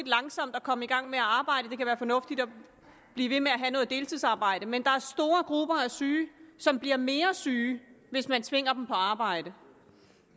langsomt at komme i gang med at arbejde det kan være fornuftigt at blive ved med at have deltidsarbejde men der er store grupper af syge som bliver mere syge hvis man tvinger dem på arbejde